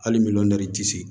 Hali ti se